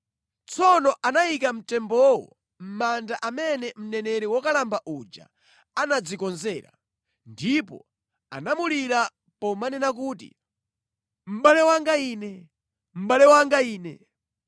Tsono anayika mtembowo mʼmanda amene mneneri wokalamba uja anadzikonzera, ndipo anamulira pomanena kuti, “Mʼbale wanga ine! Mʼbale wanga ine!”